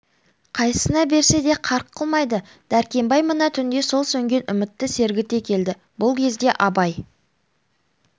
қайсысына берсе де қарқ қылмайды дәркембай мына түнде сол сөнген үмітті сергіте келді бұл кезде абай